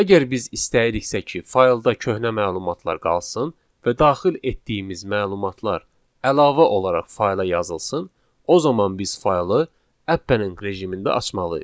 Əgər biz istəyiriksə ki, faylda köhnə məlumatlar qalsın və daxil etdiyimiz məlumatlar əlavə olaraq fayla yazılsın, o zaman biz faylı append rejimində açmalıyıq.